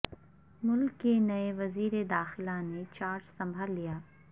ملک کے نئے وزیر داخلہ نے چارج سنبھال لیا